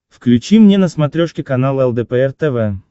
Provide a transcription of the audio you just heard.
включи мне на смотрешке канал лдпр тв